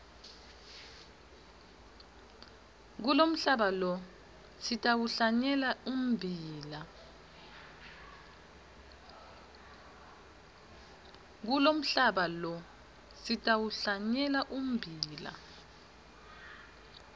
kulomhlaba lo sitawuhlanyela ummbila